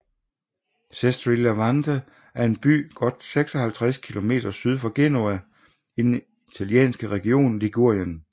Sestri Levante er en by godt 56 kilometer syd for Genova i den italienske region Ligurien